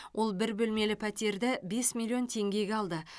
ол бір бөлмелі пәтерді бес миллион теңгеге алды